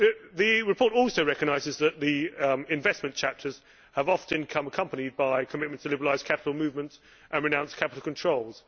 The report also recognises that the investment chapters have often come accompanied by a commitment to liberalising capital movements and renouncing capital controls.